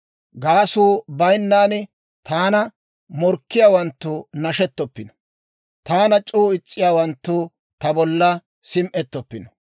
Gaasuu baynnaan taana morkkiyaawanttu nashettoppino; taana c'oo is's'iyaawanttu ta bolla sim"etoppino.